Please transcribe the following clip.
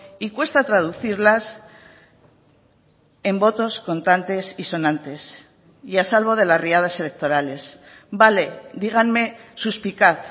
y cuesta traducirlas en votos contantes y sonantes y a salvo de las riadas electorales vale díganme suspicaz